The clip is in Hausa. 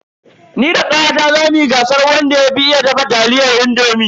Ni da kawata zamu yi gasar wanda ya fi iya dafa taliyar indomi.